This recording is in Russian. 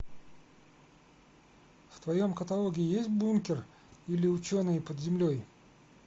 в твоем каталоге есть бункер или ученые под землей